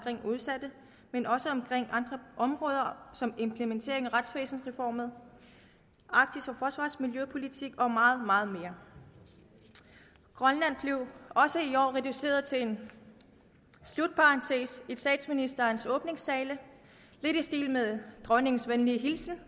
udsatte men også om andre områder som implementeringen af retsvæsensreformen arktisk forsvars og miljøpolitik og meget meget mere grønland blev også i år reduceret til en slutparentes i statsministerens åbningstale lidt i stil med dronningens venlige hilsen